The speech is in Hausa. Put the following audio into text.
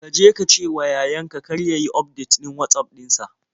Ka je ka cewa yayan ka kar ya yi ufdetin Watsaf ɗin sa.